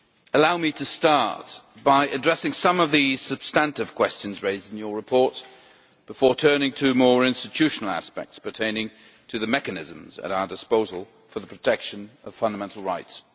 Allow me to start by addressing some of the substantive questions raised in your report, before turning to more institutional aspects pertaining to the mechanisms at our disposal for the protection of fundamental rights.